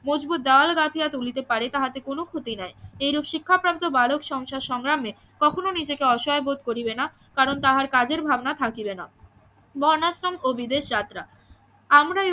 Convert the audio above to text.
মজবুত দেওয়াল গাঁথিয়া তুলিতে পারে তাহাতে কোনো ক্ষতি নাই এইরূপ শিক্ষাপ্রাপ্ত বালক সংসার সংগ্রামে কখনো নিজেকে অসহায় বোধ করিবে না কারণ তাহার কাজের ভাবনা থাকিবে না বর্ণাশ্রম ও বিদেশ যাত্রা আমরা